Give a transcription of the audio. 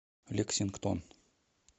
лексингтон